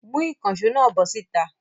Mú ìkànṣó náà bọ́ síta!